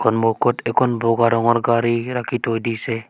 সন্মুখত একন বগা ৰঙৰ গাড়ী ৰাখি থৈ দিছে।